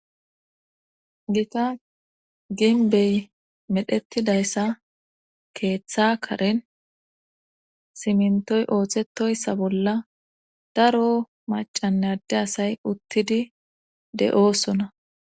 gita ginbey medhettidayssa keeththa karen simintoy ooththetoyssa bolla daro macanne adde asay uttidi de7oosona